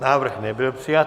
Návrh nebyl přijat.